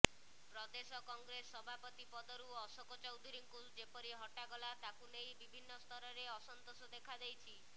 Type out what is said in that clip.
ପ୍ରଦେଶ କଂଗ୍ରେସ ସଭାପତି ପଦରୁ ଅଶୋକ ଚୌଧୁରୀଙ୍କୁ ଯେପରି ହଟାଗଲା ତାକୁ ନେଇ ବିଭିନ୍ନ ସ୍ତରରେ ଅସନ୍ତୋଷ ଦେଖାଦେଇଛି